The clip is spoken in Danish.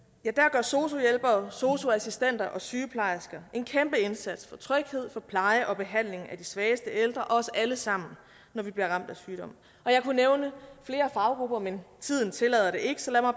gør sosu hjælpere sosu assistenter og sygeplejersker en kæmpe indsats for tryghed pleje og behandling af de svageste ældre og os alle sammen når vi bliver ramt af sygdom jeg kunne nævne flere faggrupper men tiden tillader det ikke så lad mig